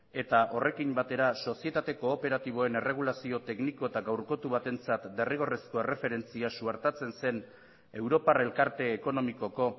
eta horrekin batera sozietate kooperatiboen erregulazio tekniko eta gaurkotu batentzat derrigorrezko erreferentzia suertatzen zen europar elkarte ekonomikoko